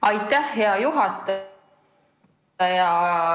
Aitäh, hea juhataja!